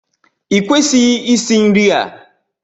Ị kwesịghị isì nri a!